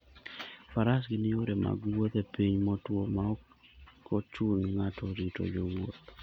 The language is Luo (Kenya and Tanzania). Faras gin yore mag wuoth e piny motwo ma ok chun ng'ato rito jowuoth.